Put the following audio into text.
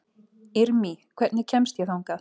Irmý, hvernig kemst ég þangað?